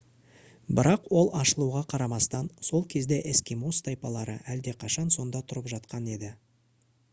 бірақ ол ашылуға қарамастан сол кезде эскимос тайпалары әлдеқашан сонда тұрып жатқан еді